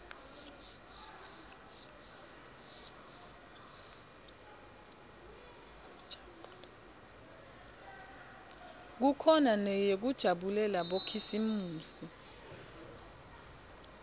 kukhona neyekujabulela bokhisimusi